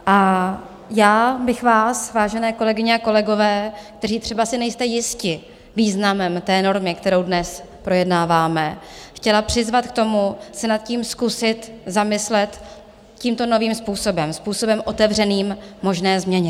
A já bych vás, vážené kolegyně a kolegové, kteří třeba si nejste jisti významem té normy, kterou dnes projednáváme, chtěla přizvat k tomu, se nad tím zkusit zamyslet tímto novým způsobem, způsobem otevřeným možné změně.